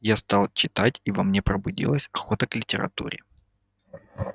я стал читать и во мне пробудилась охота к литературе